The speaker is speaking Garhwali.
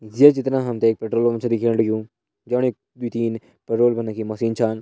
ये चित्र मा हम तें एक पेट्रोल पंप छ दिखेण लग्युं जे पणी द्वी तीन पेट्रोल भरणे की मशीन छन।